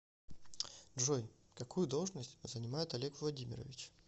джой какую должность занимает олег владимирович